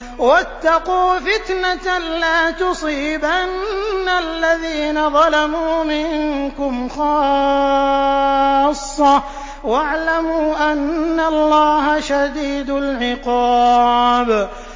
وَاتَّقُوا فِتْنَةً لَّا تُصِيبَنَّ الَّذِينَ ظَلَمُوا مِنكُمْ خَاصَّةً ۖ وَاعْلَمُوا أَنَّ اللَّهَ شَدِيدُ الْعِقَابِ